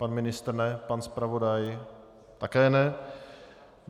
Pan ministr ne, pan zpravodaj také ne.